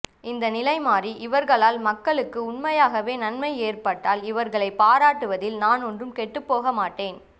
இந்த நிலை மாறி இவர்களால் மக்களுக்கு உண்மையாகவே நன்மை ஏற்பட்டால் இவர்களை பாராட்டுவதில் நான் ஒன்றும் கெட்டுப்போக மாட்டேன்